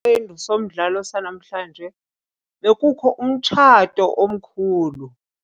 Kwisiqendu somdlalo sanamhlanje bekukho umtshato omkhulu.